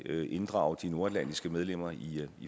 vil inddrage de nordatlantiske medlemmer i